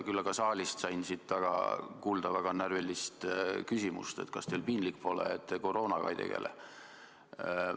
Küll aga sain täna siin saalis kuulda närvilist küsimust, kas teil piinlik pole, kui te koroonaga ei tegele.